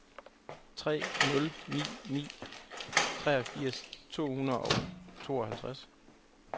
tre nul ni ni treogfirs to hundrede og tooghalvtreds